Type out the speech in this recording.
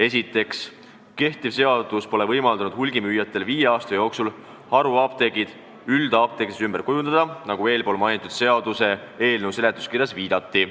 Esiteks, kehtiv seadus pole võimaldanud hulgimüüjatel viie aasta jooksul haruapteeke üldapteekideks ümber kujundada, nagu eespool mainitud seaduseelnõu seletuskirjas on viidatatud.